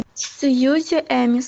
сьюзи эмис